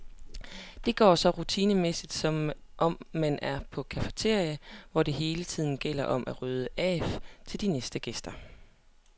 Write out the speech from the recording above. Det går så rutinemæssigt, som om man er på et cafeteria, hvor det hele tiden gælder om at rydde af til de næste gæster.